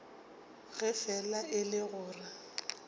ge fela e le gore